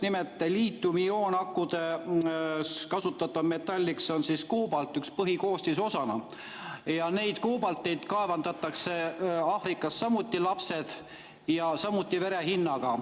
Nimelt, liitiumioonakudes kasutatav metall on ühe põhikoostisosana koobalt, aga koobaltit kaevandavad Aafrikas samuti lapsed ja samuti vere hinnaga.